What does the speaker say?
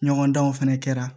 Ɲɔgɔndanw fana kɛra